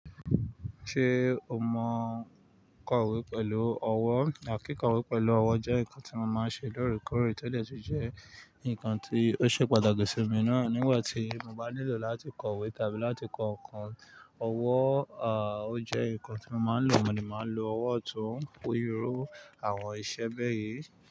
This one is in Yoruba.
Ṣé o mọ kọ̀wé pẹ̀lú ọwọ́? Àkíkọ̀wé pẹ̀lú ọwọ́ jẹ́ nǹkan tí mo máa ń ṣe lóòrèkóòrè, tode tun jẹ́ nǹkan tí ó ṣe pàtàkì sí mi náà. Nígbà tí mo bá nílò láti kọ̀wé tàbí láti kọ nnkan ọwọ́, à, ó jẹ́ nǹkan tí mo máa ń lò. Mo ní mo máa ń lo ọwọ́ òtún ó yiró àwọn iṣẹ́ bẹ́ẹ̀ yí.